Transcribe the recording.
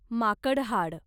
माकड हाड